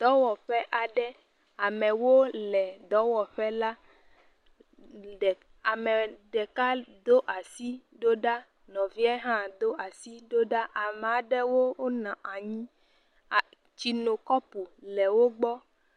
Dɔwɔƒe aɖe, amewo le dɔwɔƒe la, ame ɖeka do asi ɖo ɖa nɔvie hã do asi ɖo ɖa, ame aɖewo nɔ anyi, a.. tsinokapu le wo gbɔ.